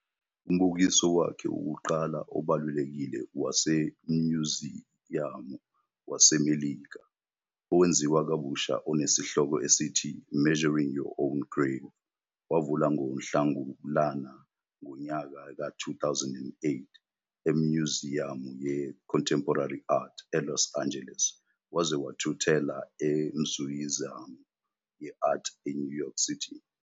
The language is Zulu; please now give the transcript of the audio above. Umbukiso wakhe wokuqala obalulekile waseMnyuziyamu waseMelika, owenziwa kabusha onesihloko esithi "Measuring Your Own Grave", wavula ngoNhlangulana ngonyaka ka 2008 eMnyuziyamu yeContemporary Art, eLos Angeles, waze wathuthela eMnyuziyamu ye-Art eNew York City.